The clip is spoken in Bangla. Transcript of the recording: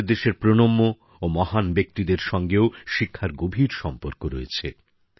আমাদের দেশের প্রণম্য ও মহান ব্যক্তিদের সঙ্গেও শিক্ষার গভীর সম্পর্ক রয়েছে